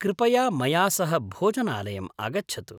कृपया मया सह भोजनालयम् आगच्छतु।